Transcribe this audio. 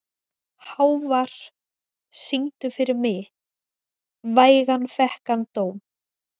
Hávar, syngdu fyrir mig „Vægan fékk hann dóm“.